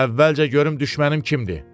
Əvvəlcə görüm düşmənim kimdi?